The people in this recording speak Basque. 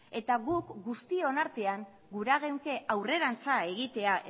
eta guk guztion artean gure geunke aurrerantza egitea